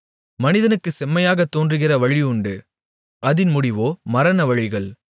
மனிதனுக்குச் செம்மையாகத் தோன்றுகிற வழியுண்டு அதின் முடிவோ மரண வழிகள்